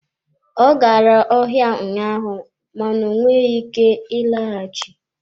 Ọ gara ọhịa ụnyaahụ mana ọ nweghị ike ịlọghachi.